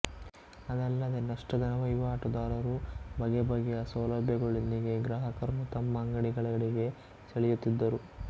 ಅದಲ್ಲದೇ ನಷ್ಟದ ವಹಿವಾಟುದಾರರು ಬಗೆಬಗೆಯ ಸೌಲಭ್ಯಗಳೊಂದಿಗೆ ಗ್ರಾಹಕರನ್ನು ತಮ್ಮ ಅಂಗಡಿಗಳೆಡೆಗೆ ಸೆಳೆಯುತ್ತಿದ್ದರು